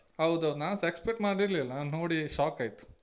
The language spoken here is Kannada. ಹೌದೌದು ನಾನ್ಸ expect ಮಾಡಿರ್ಲಿಲ್ಲ ನಾನ್ನೋಡಿ shock ಆಯ್ತು.